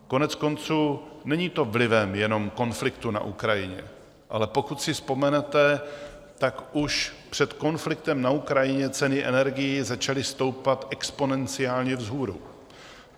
Koneckonců, není to vlivem jenom konfliktu na Ukrajině, ale pokud si vzpomenete, tak už před konfliktem na Ukrajině ceny energií začaly stoupat exponenciálně vzhůru.